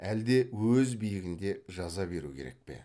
әлде өз биігінде жаза беру керек пе